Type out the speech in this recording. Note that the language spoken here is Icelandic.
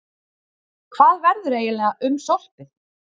Hvað verður eiginlega um sorpið?